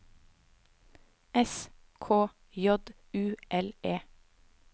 S K J U L E